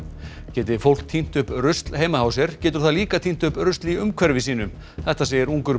geti fólk tínt upp rusl heima hjá sér getur það líka tínt upp rusl í umhverfi sínu þetta segir ungur